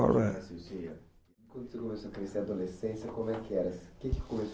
adolescência